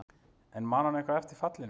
En man hann eitthvað eftir fallinu?